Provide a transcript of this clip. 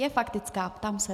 Je faktická? ptám se.